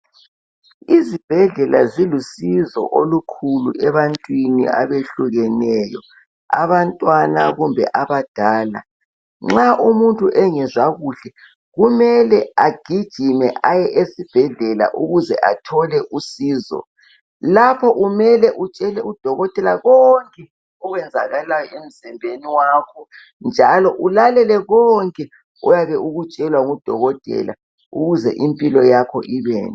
Izibhedlela zilusizo kakhulu ebantwini abehlukeneyo abantwana kumbe abadala nxa umuntu engazwa kuhle kumele agijime aye esibhedlela ukuze athole usizo lapho kumele utshele udokotela konke okwenzakalayo emzimbeni wakho njalo ulalele konke oyabe ukutshelwa ngudokotela ukuze impilo yakho ibende